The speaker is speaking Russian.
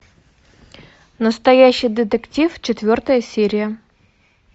настоящий детектив четвертая серия